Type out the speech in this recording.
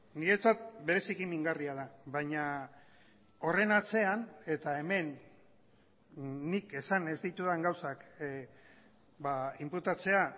niretzat bereziki mingarria da baina horren atzean eta hemen nik esan ez ditudan gauzak inputatzea